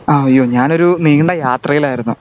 ആഹ് അയ്യോ ഞാൻ ഒരു നീണ്ട യാത്രയിലായിരുന്നു